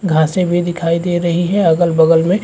घासें भी दिखाई दे रही है अगल बगल में --